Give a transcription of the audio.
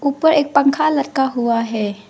ऊपर एक पंखा लटका हुआ है।